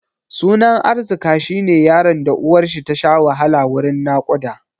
Sunan Arzika shi ne yaron da uwarshi tasha wahala wurin naƙuda.